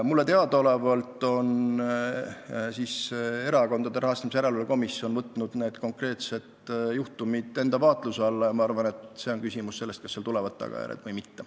Mulle teadaolevalt on Erakondade Rahastamise Järelevalve Komisjon võtnud need konkreetsed juhtumid enda vaatluse alla ja ma arvan, et sellest tööst oleneb, kas tulevad tagajärjed või mitte.